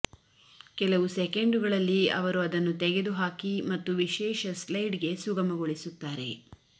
ಕೆಲವು ಸೆಕೆಂಡುಗಳಲ್ಲಿ ಅವರು ಅದನ್ನು ತೆಗೆದುಹಾಕಿ ಮತ್ತು ವಿಶೇಷ ಸ್ಲೈಡ್ಗೆ ಸುಗಮಗೊಳಿಸುತ್ತಾರೆ